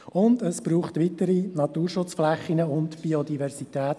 Zudem braucht es weitere Naturschutzflächen und Biodiversität.